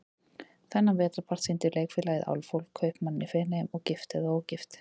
Þennan vetrarpart sýndi Leikfélagið Álfhól, Kaupmanninn í Feneyjum og Gift eða ógift?